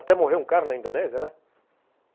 Até morreu um cara na Indonésia, né?